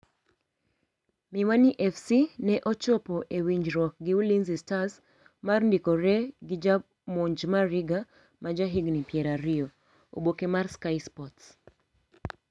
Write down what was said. Miwani FC ne ochopo e winjruok gi Ulinzi stars mar ndikore gi jamonj Mariga ma ja higni pier ariyo( oboke mar sky sports).